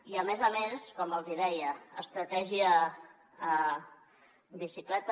i a més a més com els hi deia estratègia bicicleta